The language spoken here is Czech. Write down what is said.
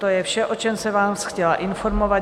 To je vše, o čem jsem vás chtěla informovat.